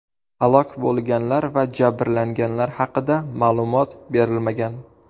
Halok bo‘lganlar va jabrlanganlar haqida ma’lumot berilmagan.